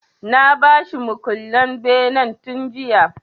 Na ba shi mukullen benen tun jiya.